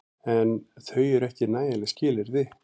En þau eru ekki nægjanleg skilyrði.